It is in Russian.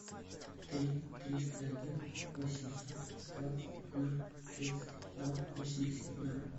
три триста один восемьсот двадцать ноль тридцать два восемьдесят ноль